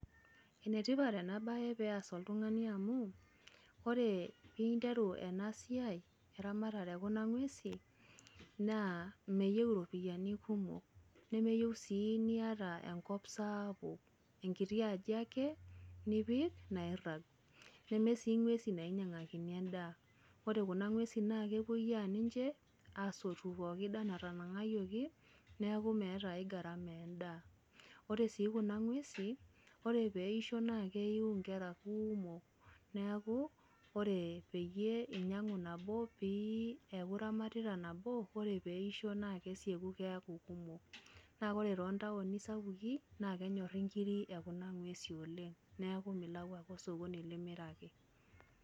Enetipat enabae pees oltung'ani amu, ore interu enasiai, eramatare ekuna ng'uesin, naa meyieu iropiyiani kumok, nemeyieu si niata enkop saapuk, enkiti aji ake, nipik nairrag. Nemesi ng'uesin nainyang'akini endaa. Ore kuna ng'uesin na kepoyia ninche, asotu pooki daa natanang'ayioki, neku meeta ai gharama endaa. Ore si kuna ng'uesin, ore peisho na keu inkera kuumok. Neeku, ore peyie inyang'u nabo pi eeku iramatita nabo, na ore peisho na kesieku keeku. Na ore tontaoni sapukin, na kenyorri nkiri ekuna ng'uesi oleng. Neeku milau ake osokoni limiraki.